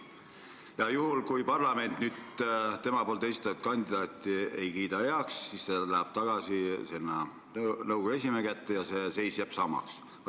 Ja juhul, kui parlament tema esitatud kandidaate heaks ei kiida, läheb pall tagasi nõukogu esimehe kätte ja seis jääb samaks.